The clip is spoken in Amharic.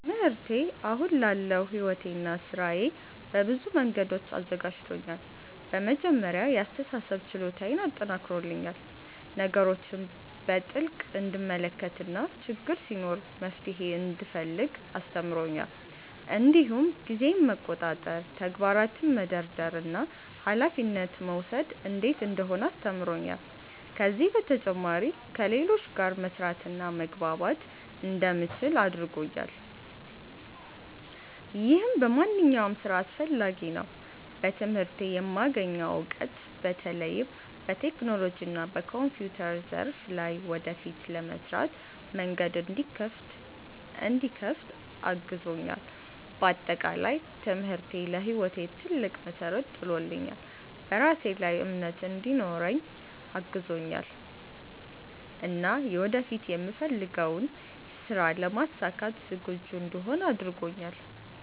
ትምህርቴ አሁን ላለው ሕይወቴና ሥራዬ በብዙ መንገዶች አዘጋጅቶኛል። በመጀመሪያ የአስተሳሰብ ችሎታዬን አጠናክሮልኛል፤ ነገሮችን በጥልቅ እንድመለከት እና ችግር ሲኖር መፍትሄ እንድፈልግ አስተምሮኛል። እንዲሁም ጊዜን መቆጣጠር፣ ተግባራትን መደርደር እና ኃላፊነት መውሰድ እንዴት እንደሆነ አስተምሮኛል። ከዚህ በተጨማሪ ከሌሎች ጋር መስራትና መግባባት እንደምችል አድርጎኛል፣ ይህም በማንኛውም ሥራ አስፈላጊ ነው። በትምህርቴ የማገኘው እውቀት በተለይም በቴክኖሎጂና በኮምፒውተር ዘርፍ ላይ ወደፊት ለምሰራበት መንገድ እንዲከፍት አግዞኛል። በአጠቃላይ ትምህርቴ ለሕይወቴ ትልቅ መሠረት ጥሎልኛል፤ በራሴ ላይ እምነት እንዲኖረኝ አግዞኛል እና ወደፊት የምፈልገውን ሥራ ለማሳካት ዝግጁ እንድሆን አድርጎኛል።